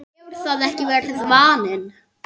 hefur það ekki verið vaninn?